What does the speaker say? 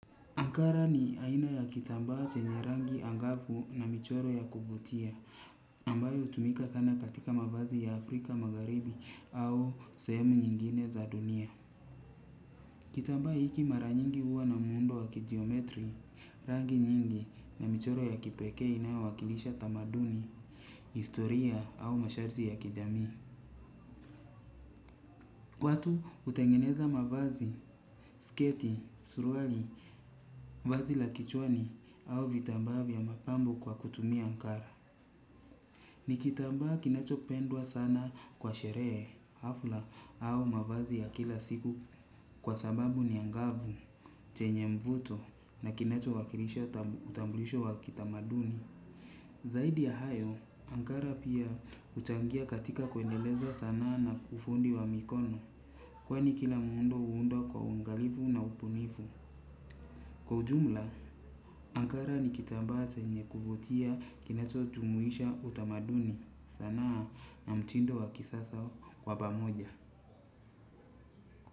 Ankara ni aina ya kitambaa chenye rangi angafu na michoro ya kuvutia, ambayo hutumika sana katika mavazi ya Afrika magharibi au sehemu nyingine za dunia. Kitambaa hiki mara nyingi huwa na muundo wa kijiometri, rangi nyingi na michoro ya kipekee inayo wakilisha tamaduni, historia au masharti ya kijami. Watu hutengeneza mavazi, sketi, suruali, vazi la kichwani au vitambaa vya mapambo kwa kutumia Ankara. Ni kitambaa kinacho pendwa sana kwa sherehe, hafla au mavazi ya kila siku kwa sababu ni angavu, chenye mvuto na kinacho wakilisha utamblisho wakitamaduni. Zaidi ya hayo, Ankara pia huchangia katika kuendeleza sanaa na ufundi wa mikono. Kwani kila muundo huundwa kwa uangalifu na ubunifu. Kwa ujumla, Ankara ni kitambaa chenye kuvutia kinacho jumuisha utamaduni sanaa na mtindo wa kisasa kwa pamoja.